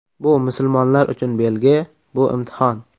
Bu musulmonlar uchun belgi, bu imtihon.